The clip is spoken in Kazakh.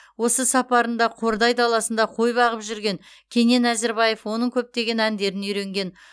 осы сапарында қордай даласында қой бағып жүрген кенен әзірбаев оның көптеген әндерін үйренген